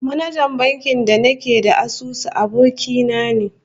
Manajan bankin da nake da asusu, aboki na ne